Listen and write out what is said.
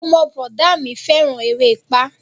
Ọmọ bọ̀dá a mi fẹ́ràn erépá